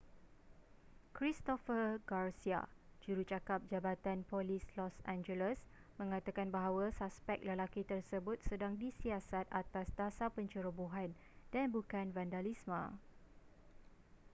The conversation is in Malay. christopher garcia jurucakap jabatan polis los angeles mengatakan bahawa suspek lelaki tersebut sedang disiasat atas dasar pencerobohan dan bukan vandalisme